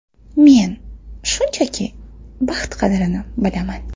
Men, shunchaki, baxt qadrini bilaman.